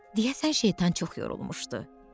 Deyəsən şeytan çox yorulmuşdu.